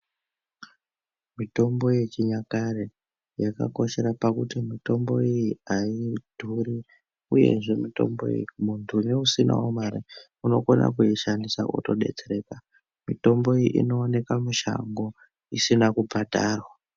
Mitombo yechinyakare yakakoshera pakuti mitombo iyi haidhuri, uyezve mitombo iyi muntu neusinavo mare unokone kuishandisa votobetsereka. Mitombo iyi inooneka mushango isina kubhadharwa.